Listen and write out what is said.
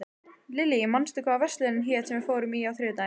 Lillý, manstu hvað verslunin hét sem við fórum í á þriðjudaginn?